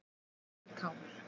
Það voru tár.